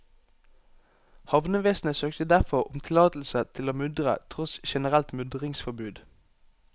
Havnevesenet søkte derfor om tillatelse til å mudre tross generelt mudringsforbud.